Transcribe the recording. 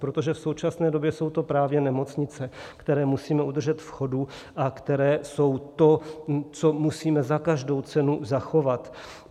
Protože v současné době jsou to právě nemocnice, které musíme udržet v chodu a které jsou to, co musíme za každou cenu zachovat.